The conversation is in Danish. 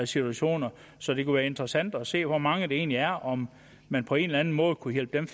situation så det kunne være interessant at se hvor mange det egentlig er og om man på en eller anden måde kunne hjælpe dem